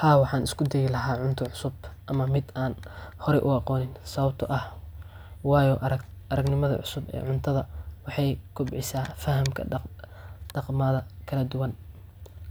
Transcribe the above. Haa waxaan isku dayi lahaa cunta cusub ama miid aan hore u aqoonin sababtoo ah waayo aragnimada cusub ee Cuntada waxay kobcisaa fahamka dhaqamada kala duwan